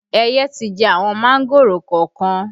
Ẹyẹ ti jẹ àwọn mángòrò kọ̀ọ̀kan